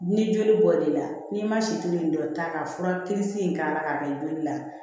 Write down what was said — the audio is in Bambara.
Ni joli bɔl'i la n'i ma situlu in dɔ ta ka fura kirisi in k'a la k'a kɛ joli la